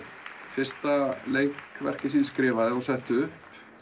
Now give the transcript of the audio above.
fyrsta leikverkið sem ég skrifaði og setti upp